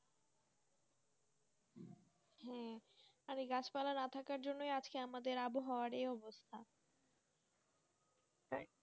হ্যাঁ আর গাছ পালা না থাকার জন্য আজকে আমাদের আবহাওয়াএই আবস্থা তাই